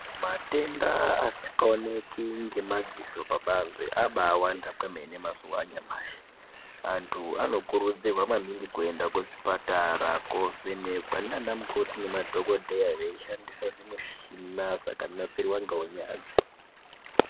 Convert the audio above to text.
Matenda asikaoneki ngemadziso pabanze abaawanda kwemene mazuva anyamashii. Antu vanokurudzirwa maningi kuenda kuzvipatara koovhenekwa naana mukoti nemadhogodheya veishandisa zvimichina zvakanasirwa ngeunyanzvi.